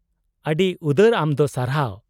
-ᱟᱹᱰᱤ ᱩᱫᱟᱹᱨ ᱟᱢ ᱫᱚ, ᱥᱟᱨᱦᱟᱣ ᱾